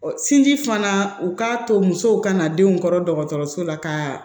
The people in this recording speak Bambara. sinji fana u k'a to musow kana denw kɔrɔ dɔgɔtɔrɔso la ka